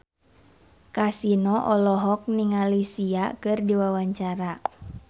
Kasino olohok ningali Sia keur diwawancara